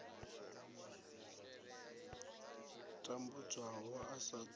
tambudzwaho a sa ṱo ḓi